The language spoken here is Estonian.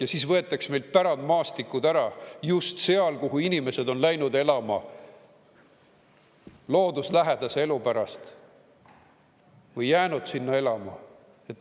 Ja siis võetakse meilt pärandmaastikud ära just seal, kuhu inimesed on läinud elama looduslähedase elu pärast või jäänud sinna elama.